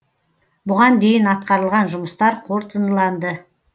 бұған дейін атқарылған жұмыстар қорытындыланды